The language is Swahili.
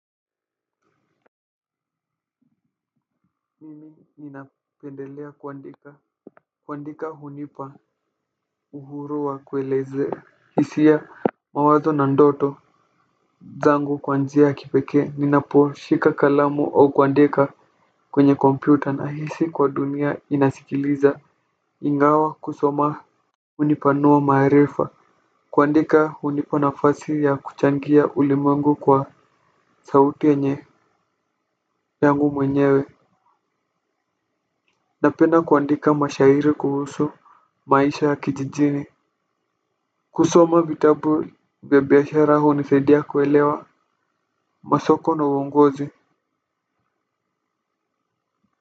Mimi nina pendelea kuandika. Kuandika hunipa uhuru wa kuelezea hisia mawazo na ndoto zangu kwa njia ya kipekee ninapo shika kalamu au kuandika kwenye kompyuta nahisi kwa dunia inasikiliza ingawa kusoma hunipanua maarifa kuandika hunipa nafasi ya kuchangia ulimwengu kwa sauti yenye yangu mwenyewe. Napenda kuandika mashahiri kuhusu maisha ya kijijini. Kusoma vitabu vya biashara hunisaidia kuelewa masoko na uongozi.